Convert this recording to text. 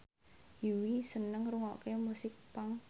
Yui seneng ngrungokne musik punk